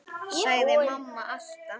sagði mamma alltaf.